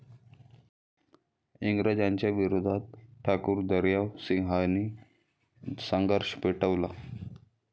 इंग्रजांच्या विरोधात ठाकूर दर्यावसिंहांनी संघर्ष पेटवला.